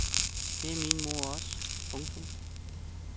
Det er min mor også. punktum